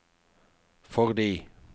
fordi